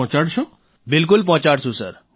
રાજેશ પ્રજાપતિઃ બિલકુલ પહોંચાડશું સર